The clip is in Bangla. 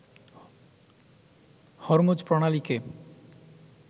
হরমুজ প্রণালীকে